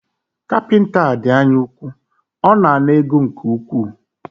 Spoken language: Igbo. Kapịnta a dị anya úkwú, ọ na ana ego nke ukwuu